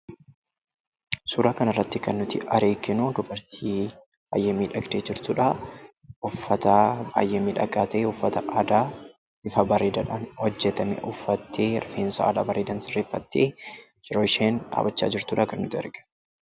Suuraa kana irratti kan nuti arginuu, dubartii baayyee miidhagdee jirtudha. Uffata baayyee miidhagaa ta'e uffata aadaa bifa bareedaan kan hojjetame uffattee rifeensa haala bareedaadhaan sirreeffattee yeroo isheen dhaabbachaa jirtu kan nuti arginu.